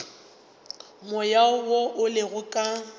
moya wo o lego ka